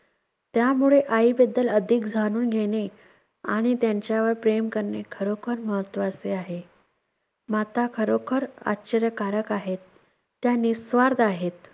त्यामुळे आईबद्दल अधिक जाणून घेणे आणि त्यांच्यावर प्रेम करणे खरोखर महत्त्वाचे आहे. माता खरोखर आश्चर्यकारक आहेत, त्या निःस्वार्थ आहेत.